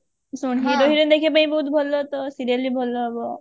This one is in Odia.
ଶୁଣ hero heroine ଦେଖିବା ପାଇଁ ବହୁତ ଭଲ ତ serial ବି ଭଲ ହବ